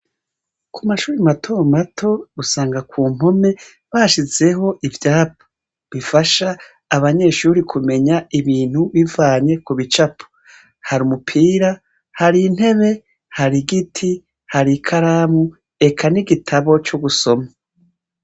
Ku mashure matomato, usanga ku mpome basizeho ivyapa bifasha abanyeshure kumenya ibintu bivanye ku bicapo. Hari umupira, hari intebe, hari igiti, hari ikaramu, eka n'igitabo c'ugusoma.